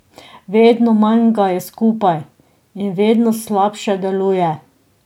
Vedno manj ga je skupaj in vedno slabše deluje.